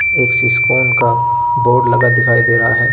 एक सिसकोन का बोर्ड लगा दिखाई दे रहा है।